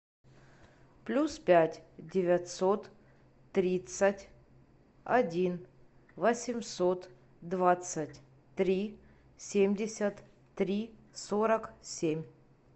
плюс пять девятьсот тридцать один восемьсот двадцать три семьдесят три сорок семь